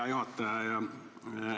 Hea juhataja!